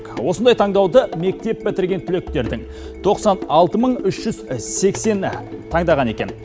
осындай таңдауды мектеп бітірген түлектердің тоқсан алты мың үш жүз сексені таңдаған екен